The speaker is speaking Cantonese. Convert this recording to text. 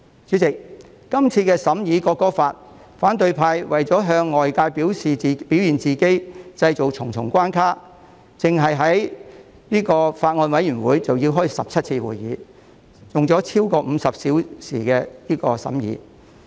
主席，今次審議《條例草案》期間，反對派為了向外界表現自己，於是製造重重關卡，單是法案委員會已召開了17次會議，用了超過50小時進行審議。